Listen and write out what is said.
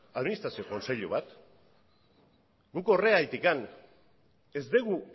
administrazio kontseilu bat guk horregatik ez dugu